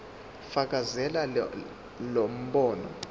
fakazela lo mbono